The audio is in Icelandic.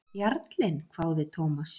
Jarlinn? hváði Thomas.